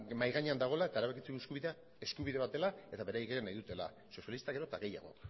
mahai gainean dagoela eta erabakitzeko eskubidea eskubide bat dela eta beraiek ere nahi dutela sozialista gero eta gehiago